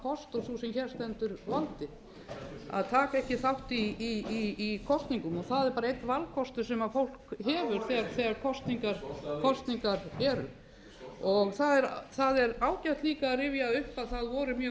kost og sú sem hér stendur valdið að taka ekki þátt í kosningum það er bara einn valkostur sem fólk hefur þegar kosningar eru það er ágætt líka að rifja upp að það voru mjög margir sem töldu þessa kosningu